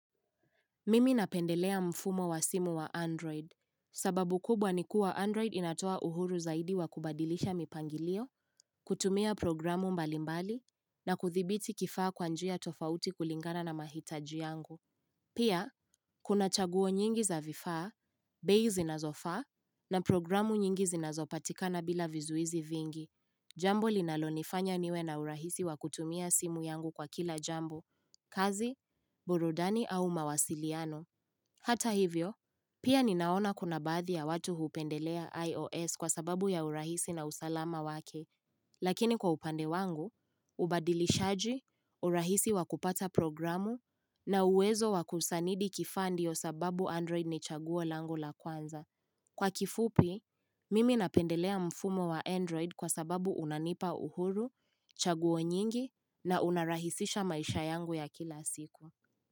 Mimi napendelea mfumo wa simu wa android. Sababu kubwa ni kuwa android inatoa uhuru zaidi wa kubadilisha mipangilio, kutumia programu mbalimbali, na kuthibiti kifaa kwa njia tofauti kulingana na mahitaji yangu. Pia, kuna chaguo nyingi za vifaa, bei zinazofaa, na programu nyingi zinazopatikana bila vizuizi vingi. Jambo linalonifanya niwe na urahisi wa kutumia simu yangu kwa kila jambo. Kazi, burudani au mawasiliano. Hata hivyo, pia ninaona kuna baadhi ya watu hupendelea IOS kwa sababu ya urahisi na usalama wake, lakini kwa upande wangu, ubadilishaji, urahisi wakupata programu, na uwezo wa kusanidi kifaa ndiyo sababu Android ni chaguo lango la kwanza. Kwa kifupi, mimi napendelea mfumo wa Android kwa sababu unanipa uhuru, chaguo nyingi, na unarahisisha maisha yangu ya kila siku.